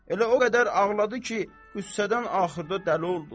Elə o qədər ağladı ki, qüssədən axırda dəli oldu.